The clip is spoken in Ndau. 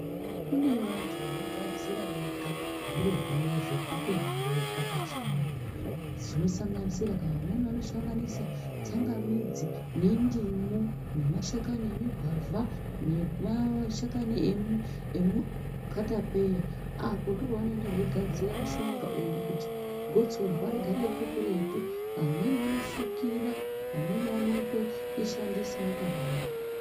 Kune vantu vanogadzira vega zviro zvavo zvekutomwa vega pachivantu dzinosanganisira kuti vamwemi vanosanganisa tsanga midzi nendimu nemashakani emugwavha nemashakani emukatapeya apo ndipo vanoenda veigadzira mushonga uyu kuti gotsorwa tigare ririkuretu vamwemi vanofukira vamwemi vanoishandisa wakadaro.